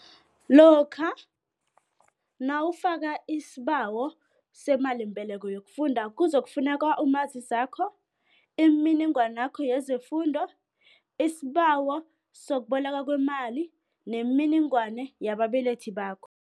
Lokha nawufaka isibawo semalimbeleko yokufunda, kuzokufuneka umazisakho imininingwanakho yezefundo, isibawo sokubolekwa kwemali nemininingwana yabababelethi bakho.